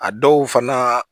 A dɔw fana